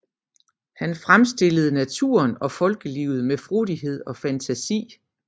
Han fremstillede naturen og folkelivet med frodighed og fantasi